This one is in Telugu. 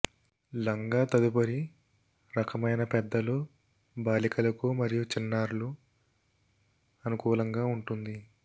లంగా తదుపరి రకమైన పెద్దలు బాలికలకు మరియు చిన్నారులు అనుకూలంగా ఉంటుంది